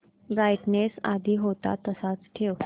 brightness आधी होता तसाच ठेव